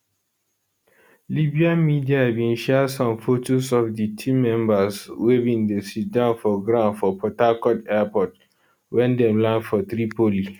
libyan media bin share some fotos of di team members wey bin sitdown for ground for port harcourt airport wen dem land from tripoli